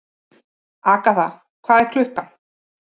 Agatha, hvað er klukkan?